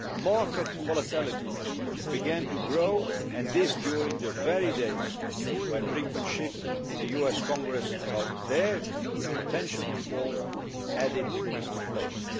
Market volatility began to grow, and this during the very days when brinkmanship in the US Congress about their potential default was adding to the flames.